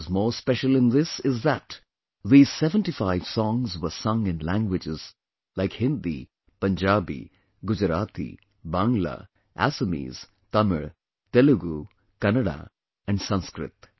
What is more special in this is that these 75 songs were sung in languages like Hindi, Punjabi, Gujarati, Bangla, Assamese, Tamil, Telugu, Kannada and Sanskrit